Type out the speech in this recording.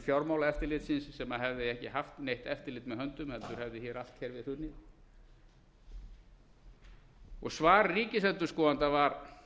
fjármálaeftirlitsins sem hefði ekki haft neitt eftirlit með höndum heldur hefði allt kerfið hrunið og svar ríkisendurskoðanda var